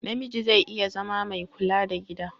Namiji zai iya zama mai kula da gida.